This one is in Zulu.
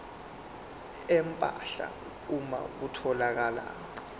empahla uma kutholakala